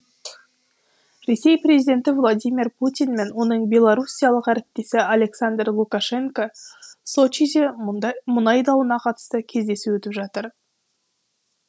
ресей президенті владимир путин мен оның белоруссиялық әріптесі александр лукашенко сочиде мұнай дауына қатысты кездесу өткізіп жатыр